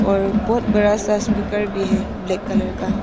और बहोत बड़ा सा स्पीकर भी है ब्लैक कलर का।